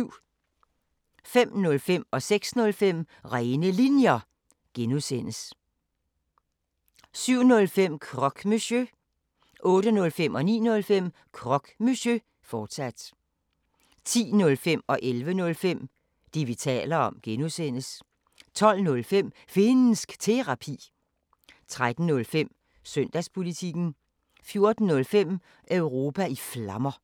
05:05: Rene Linjer (G) 06:05: Rene Linjer (G) 07:05: Croque Monsieur 08:05: Croque Monsieur, fortsat 09:05: Croque Monsieur, fortsat 10:05: Det, vi taler om (G) 11:05: Det, vi taler om (G) 12:05: Finnsk Terapi 13:05: Søndagspolitikken 14:05: Europa i Flammer